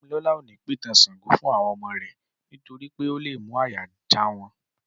Dámilọ́la ò ní pìtàn Ṣàngó fún àwọn ọmọ rẹ̀ nítorí pé ó lé mú àyà já wọn